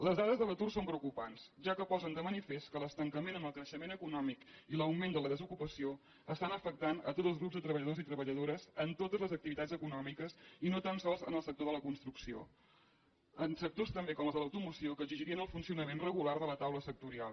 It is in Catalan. les dades de l’atur són preocupants ja que posen de manifest que l’estancament en el creixement econòmic i l’augment de la desocupació estan afectant tots els grups de treballadors i treballadores en totes les activitats econòmiques i no tan sols en el sector de la construcció en sectors també com els de l’automoció que exigirien el funcionament regular de la taula sectorial